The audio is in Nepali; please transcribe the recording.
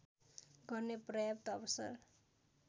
गर्ने पर्याप्त अवसर